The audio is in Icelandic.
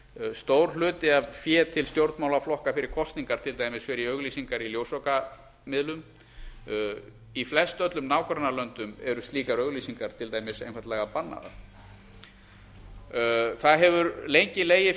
stór hluti af fé til stjórnmálaflokka fyrir kosningar til dæmis fer í auglýsingar í ljósvakamiðlum í flestöllum nágrannalöndum eru slíkar auglýsingar til dæmis einfaldlega bannaðar það hefur lengi legið